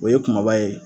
O ye kumaba ye